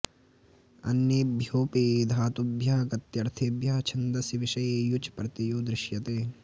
अन्येभ्यो ऽपि धातुभ्यः गत्यर्थेभ्यः छन्दसि विषये युच् प्रत्ययो दृश्यते